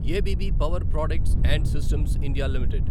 అబ్బ్ power products and systems India limited